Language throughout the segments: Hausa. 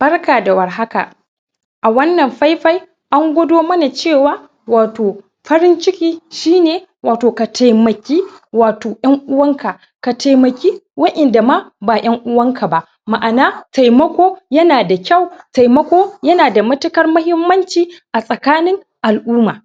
Barka da warhaka. A wannan fai-fai an gwado mana cewa, wato farin ciki shine wato ka taimaki wato ƴan uwanka, ka taimaki wa'inda ma ba ƴan uwanka ba. Ma'ana: taimako yana da kyau, taimako yana da matuƙar muhimmanci a tsakanin al'umma.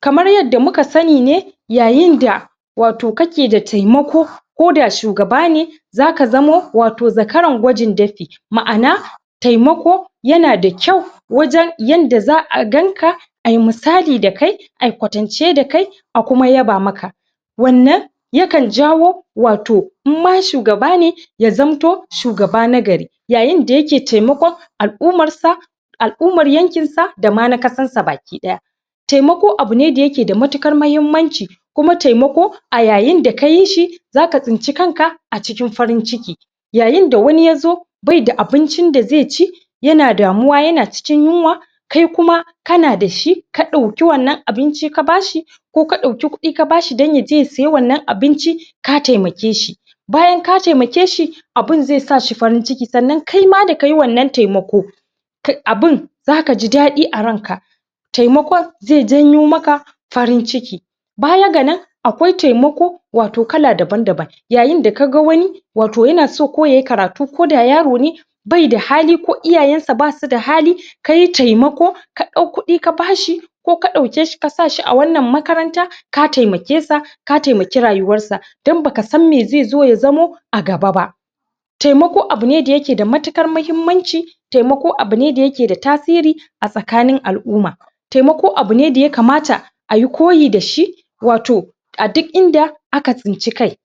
Kamar yadda muka sani ne, yayin da wato kake da taimako, ko da shugaba ne, zaka zamo wato zakaran gwajin dafi, ma'ana: taimako yana da kyau, wajan yanda za'a ganka ai misali da kai, ai kwatance da kai, a kuma yaba maka. Wannan ya kan jawo, wato in ma shugaba ne ya zamto shugaba nagari. Yayin da yake taimakon al'ummar sa, al'ummar yankin sa, da ma na ƙasar sa baki ɗaya. Taimako abu ne da yake da matuƙar mahimmanci, kuma taimako a yayin da kayi shi, zaka tsinci kanka a cikin farin ciki. Yayin da wani yazo bai da abincin da zai ci, yana damuwa, yana cikin yunwa, kai kuma kana dashi, ka ɗauki wannan abinci ka ba shi, ko ka ɗauki kuɗi ka bashi, don yaje ya saya wannan abinci, ka taimake shi. Bayan ka taimake shi, abun zai sa shi cikin farin ciki, sannan kaima da kayi wannan taimako abun zaka ji daɗi a ranka, taimakon zai janyo maka farin ciki. Baya ga nan, akwai taimako wato kala daban-daban. Yayin da ka wani wato yana so ko yayi karatu, ko da yaro ne bai da hali, ko iyayen sa basu da hali, kai taimako ka ɗau kuɗi ka bashi, ko ka ɗauke shi ka sa shi a wannan makaranta, ka taimake sa, ka taimaki rayuwar sa, dan baka san mai zai zo ya zamo a gaba ba. Taimako abu ne da yake da matuƙar mahimmanci, taimako abu ne da yake da tasiri a tsakanin al'umma. Taimako abu ne da ya kamata ayi koyi dashi, wato a duk inda a tsinci kai.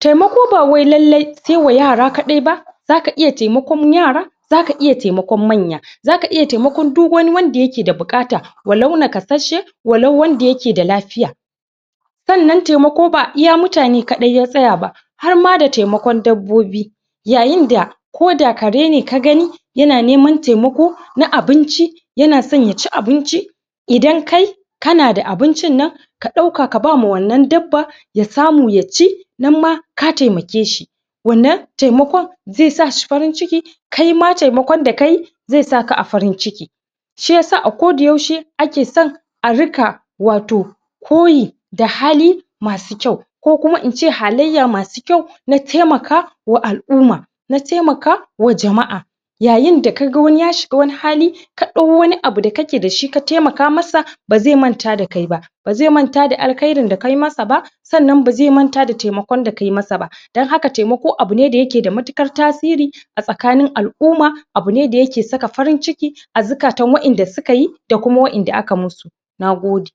Taimako ba wai lallai sai wa yara kaɗai ba, zaka iya taimakon yara, zaka iya taimakon manya, zaka iya taimakon du wani wanda yake da buƙata, walau naƙasashshe, walau wanda yake da lafiya. Sannan taimako ba a iya mutane kaɗai ya tsaya ba, har ma da taimakon dabbobi. Yayin da ko da kare ne ka gani, yana neman taimako na abunci, yana san yaci abunci, idan kai kana da abincin nan, ka ɗauka ka bama wannan dabban ya samu ya ci, nan ma ka taimake shi, wannan taimakon zai sa shi farin ciki, kai ma taimakon da kayi zai sa ka a farin ciki. Shi yasa a ko da yaushe a ke son a rika wato koyi da hali masu kyau, ko kuma in ce halayya masu kyau, na taimaka wa al'umma, na taimaka wa jama'a. Yayin da kaga wani ya shiga wani hali, ka ɗau wani abu da kake dashi ka taimaka masa, ba zai manta da kai ba, ba zai manta da alkhairin da kayi masa ba, sannan ba zai manta da taimakon da kai masa ba. Dan haka taimako abu ne da yake da matuƙar tasiri, a tsakanin al'umma, abu ne da yake saka farin ciki a zukatan wa'inda suka yi, da kuma wa'inda a kayi musu. Nagode.